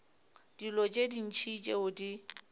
dilo tše ntši tšeo di